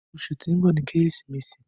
Ọṣù tí n bọ ní Keresimesi